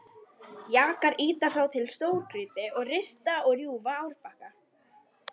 Jakar ýta þá til stórgrýti og rista og rjúfa árbakka.